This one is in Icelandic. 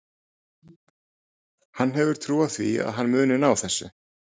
Hann hefur trú á því að hann muni ná þessu.